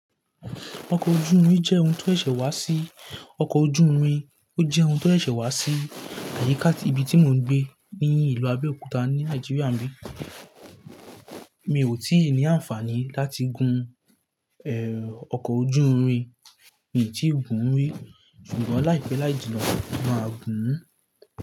Ọkọ̀ ojú omi jẹ́ ohun tó ṣẹ̀ṣẹ̀ wá sí, ọkọ̀ ojú omi ó jẹ́ ohun tó ṣẹ̀ṣẹ̀ wá sí àyíká tí ibi tí mò ń gbé ní ìlú Abẹ́òkúta ní Nàìjíríà n bi. Mi ò tí ì ní àǹfààní láti gún ẹ̀, ọkọ̀ ojú omi, mi tì í gún ún rí, ṣùgbọ́n láìpẹ́ láìjì nọ, mà gún ún.